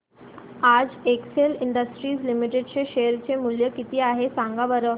आज Excel industries limited चे share चे मूल्य किती आहे सांगा बरं